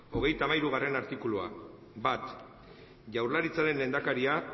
hogeita hamairugarrena artikulua bat jaurlaritzaren lehendakaria